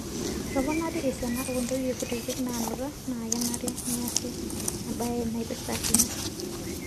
Etoponari esiana oo ntoyie kutitik naanuta naa kenare neesi embaye naipirta ina.